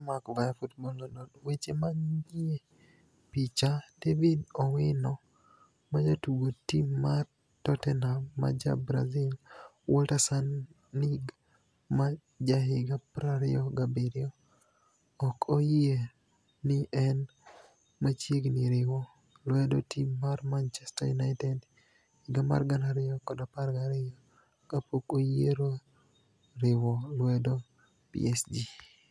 (Fotomac ,via Football. Lonidoni) Weche maniie picha, David owino majatugo tim mar Totteniham ma ja Brazil Walter Saanig ma jahiga 27 ok oyie nii eni machiegnii riwo lwedo tim mar Manichester uniited higa mar 2012 ka pok oyiero riwo lwedo PSG.